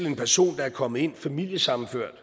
en person der er kommet ind gennem familiesammenføring og